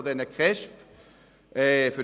In der letzten Zeit hat es sich zwar beruhigt.